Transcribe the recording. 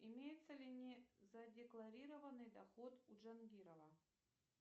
имеется ли незадекларированный доход у джангирова